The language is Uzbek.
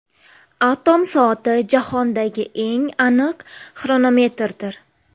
Atom soati jahondagi eng aniq xronometrdir.